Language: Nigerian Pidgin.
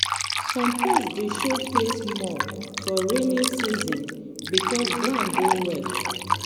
some pest dey show face more for rainy season because ground dey wet.